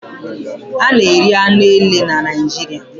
A na-eri anụ ele na Naijiria